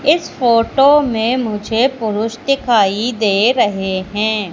इस फोटो में मुझे पुरुष दिखाई दे रहे हैं।